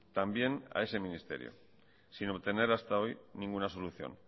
también a ese ministerio sin obtener hasta hoy ninguna solución